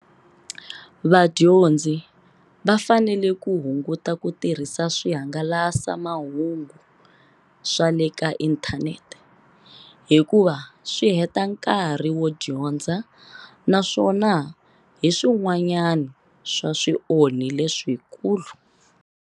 Vadyondzi va fanele ku hunguta ku tirhisa swihangalasa mahungu swa le ka inthanete, hikuva swi heta nkarhi wo dyondza naswona hi swin'wana swa swionhi leswikulu.